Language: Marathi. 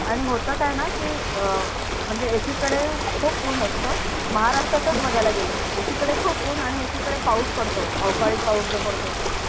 आणि होत काय णा की अं म्हणजे एकीकडे खूप उन असतो महाराष्ट्रातच बगायला गेल तर एकीकडे खूप उन आणि एकीकडे पाऊस पडतो अवकडी पाऊस पडतो तो